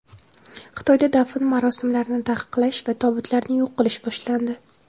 Xitoyda dafn marosimlarini taqiqlash va tobutlarni yo‘q qilish boshlandi.